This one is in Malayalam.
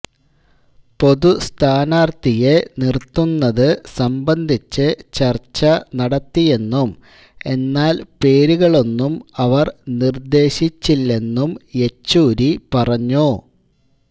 പൊതുസ്ഥാനാർഥിയെ നിർത്തുന്നത് സംബന്ധിച്ച് ചർച്ച നടത്തിയെന്നും എന്നാൽ പേരുകളൊന്നും അവർ നിർദേശിച്ചില്ലെന്നും യെച്ചൂരി പറഞ്ഞു